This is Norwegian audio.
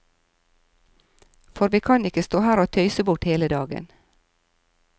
For vi kan ikke stå her og tøyse bort hele dagen.